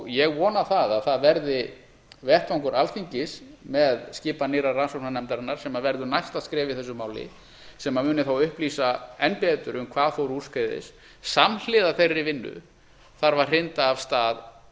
ég vona að það verði vettvangur alþingis með skipan nýrrar rannsóknarnefndar sem verður næsta skref í þessu máli sem muni þá upplýsa enn betur um hvað fór úrskeiðis samhliða þeirri vinnu þarf að hrinda af stað